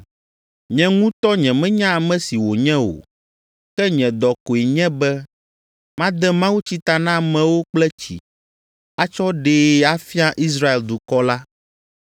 Nye ŋutɔ nyemenya ame si wònye o, ke nye dɔ koe nye be made mawutsi ta na amewo kple tsi, atsɔ aɖee afia Israel dukɔ la.”